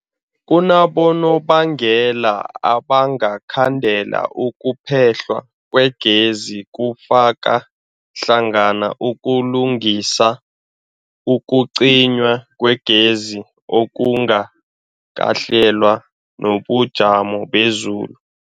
Kunabonobangela abangakhandela ukuphehlwa kwegezi, kufaka hlangana ukulungisa, ukucinywa kwegezi okungakahlelwa, nobujamo bezulu.